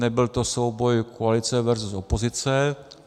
Nebyl to souboj koalice versus opozice.